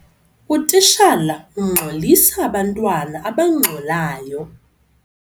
Utitshala ungxolisa abantwana abangxolayo.